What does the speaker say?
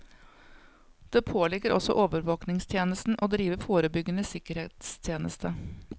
Det påligger også overvåkingstjenesten å drive forebyggende sikkerhetstjeneste.